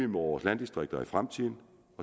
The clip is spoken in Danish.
vores landdistrikter i fremtiden